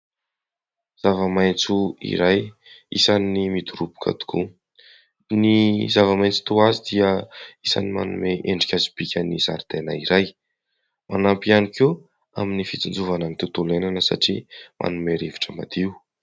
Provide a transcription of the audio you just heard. Zava-maitso iray isan'ny midoroboka tokoa. Ny zava-maintso toa azy dia isany manome endrika sy bika ny zaridaina iray manampy ihany koa amin'ny fitsinjovana ny tontolo iainana satria manome rivotra madio.